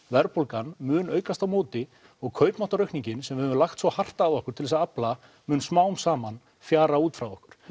verðbólgan mun aukast á móti og kaupmáttaraukningin sem við höfum lagt svo hart að okkur til að afla mun smám saman fjara út frá okkur